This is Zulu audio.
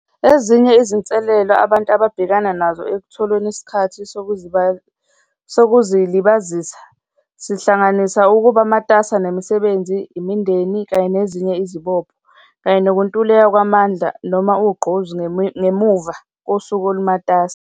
Ezinye izinselelo abantu ababhekana nazo ekutholeni isikhathi zokuzilibazisa, sihlanganisa ukuba matasa nemisebenzi, imindeni, kanye nezinye izibopho kanye nokuntuleka kwamandla noma ugqozi ngemuva kosuku olumatasa.